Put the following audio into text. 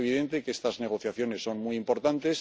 Es evidente que estas negociaciones son muy importantes.